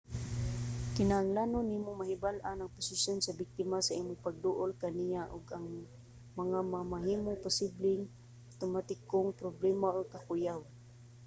kinahanglan nimo mahibal-an ang posisyon sa biktima sa imong pagduol kaniya ug ang mga mamahimong posibleng awtomatikong problema or kakuyaw